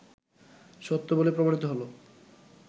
সত্য বলে প্রমাণিত হলো